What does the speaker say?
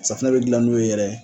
Safinɛ be dilan n'o ye yɛrɛ